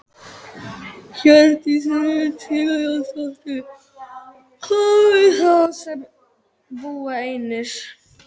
Hjördís Rut Sigurjónsdóttir: Hvað með þá sem að búa einir?